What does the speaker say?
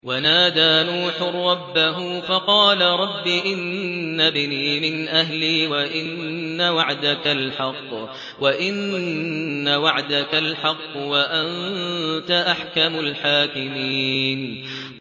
وَنَادَىٰ نُوحٌ رَّبَّهُ فَقَالَ رَبِّ إِنَّ ابْنِي مِنْ أَهْلِي وَإِنَّ وَعْدَكَ الْحَقُّ وَأَنتَ أَحْكَمُ الْحَاكِمِينَ